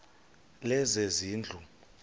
lezezindlu